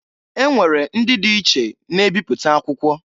E nwere ndị di iche na ebipụta akwụkwọ.